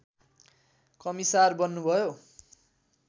commissar बन्नुभयो